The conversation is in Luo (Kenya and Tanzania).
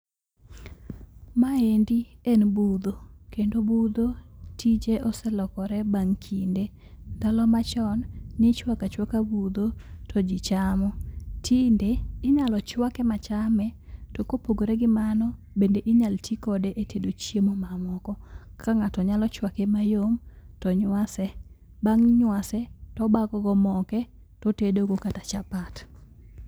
Ma endi en budho kendo budho tije oselokore bang' kinde . Ndalo machon nichwaka chwaka budho to jii chamo . Tinde , inyalo chwake machame to kopogore gi mano bende inyalo tii kode e tedo chiemo mamoko. Kaka ng'ato nyalo chwake mayom to nywase, bang' nywase to bago go moke to tedo go kata chapat.